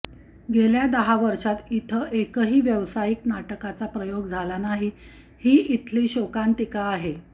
गेल्या दहा वर्षात इथं एकाही व्यावसायिक नाटकाचा प्रयोग झाला नाही ही इथली शोकांतिका आहे